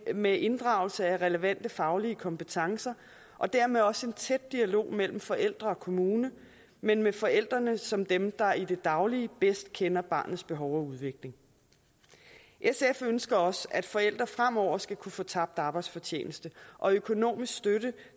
med inddragelse af relevante faglige kompetencer og dermed også en tæt dialog mellem forældre og kommune men med forældrene som dem der i det daglige bedst kender barnets behov og udvikling sf ønsker også at forældre fremover skal kunne få tabt arbejdsfortjeneste og økonomisk støtte